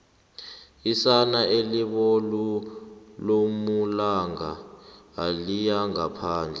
isana elibolu lomalanga aliyingaphandle